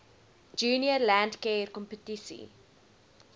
junior landcare kompetisie